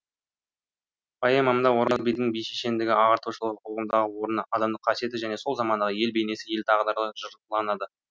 поэмамда ораз бидің би шешендігі ағартушылығы қоғамдағы орны адамдық қасиеті және сол замандағы ел бейнесі ел тағдыры жырланады